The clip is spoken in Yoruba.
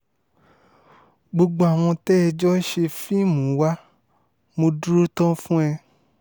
gbogbo àwọn tẹ́ ẹ jọ ń ṣe fíìmù wa mo dúró tán fún ẹ